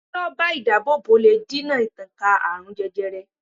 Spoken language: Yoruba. Se ró̩bà idaabobo le dina ìtànká aarun jẹjẹrẹ